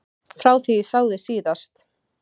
Frá því ég sá þig síðast.